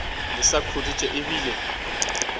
le sa khuditše e bile